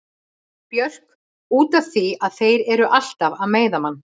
Björk: Út af því að þeir eru alltaf að meiða mann.